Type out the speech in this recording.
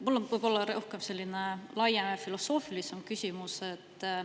Mul on võib-olla selline laiem ja filosoofilisem küsimus.